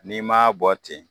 N'i maa bɔ ten